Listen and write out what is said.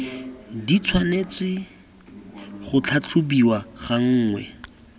di tshwanetse go tlhatlhobiwa gangwe